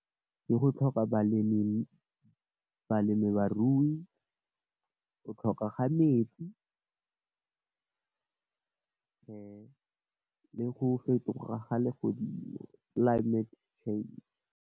Ke go tlhoka balemi, balemi barui, go tlhoka ga metsi, le go fetoga ga legodimo, climate change.